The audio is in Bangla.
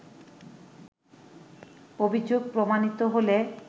অভিযোগ প্রমাণিত হলে